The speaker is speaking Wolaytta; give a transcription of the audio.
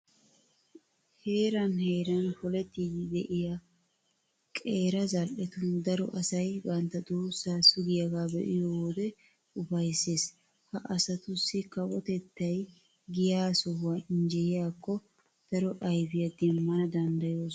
Heeran heeran polettiiddi de'iya qeera zal'etun daro asay bantta duussaa sugiyagaa be'iyo wode ufayssees. Ha asatussi kawotettay giyaa sohuwa injjeyiyakko daro ayfiya demmana danddayoosona.